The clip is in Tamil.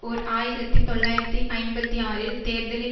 ஓர் ஆயிரத்தி தொள்ளாயிரத்தி ஐம்பத்தி ஆறில் தேர்தலில்